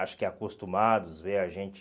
Acho que acostumados, vê a gente...